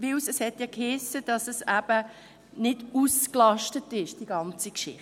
Denn es hiess ja, dass die ganze Geschichte nicht ausgelastet sei.